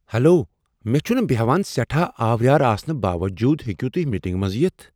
Hello! مے٘ چھٗنہٕ بیہان سیٹھاہ آوریر آسنہٕ باوجوُد ہیوكوٕ توہہِ میٹِنگہِ منز یِتھ ۔